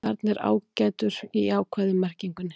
Þarna er ágætur í jákvæðu merkingunni.